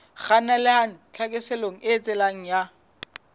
kgannelang tlhaselong e eketsehang ya